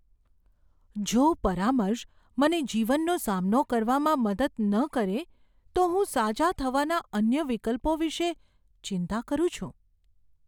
જો પરામર્શન મને જીવનનો સામનો કરવામાં મદદ ન કરે તો હું સાજા થવાના અન્ય વિકલ્પો વિશે ચિંતા કરું છું.